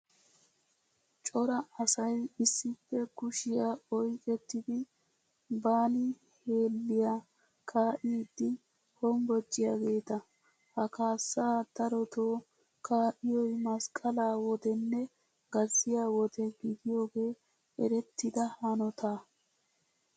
Cora asayi issippe kushiyaa oyiqettidi baali hellelliyaa kaa''iiddi hombbociyaageeta. Ha kaassaa darotoo kaa'iyoyi masqqalaa wodenne gazziyaa wode gidiyoogee erettida hannotaa.